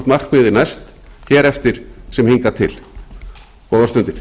markmiðið næst hér eftir sem hingað til góðar stundir